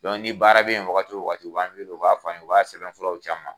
ni baara be yen wagati wo wagati , u b'a wele u b'a f'an ye, u b'a sɛbɛnfuraw ci an ma.